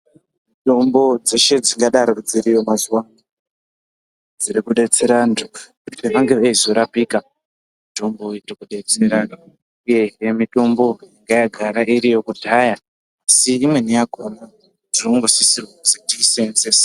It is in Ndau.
Mutombo dzeshe dzingadaro dziriyo mazuwa anaa dzirikudetsera anthu kuti vange veizorapika mitombo iyi iri kudetsera imweni mitombo yanga yagara iriyo kudhaya asi imweni yakhona tonosisirwe kuti toiseenzese.